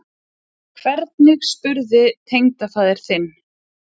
Hvernig spurði tengdafaðir þinn?